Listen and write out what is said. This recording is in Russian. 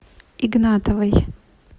игнатовой